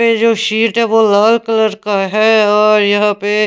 ये जो शीट है वो लाल कलर का है और यहाँ पे --